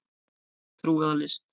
Trú eða list